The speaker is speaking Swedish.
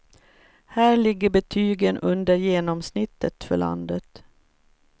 Här ligger betygen under genomsnittet för landet.